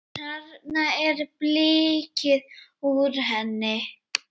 Þarna er blikkið úr henni.